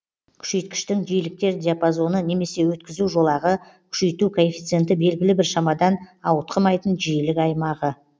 күшейткіштің жиіліктер диапазоны немесе өткізу жолағы күшейту коэффициенті белгілі бір шамадан ауытқымайтын жиілік аймағы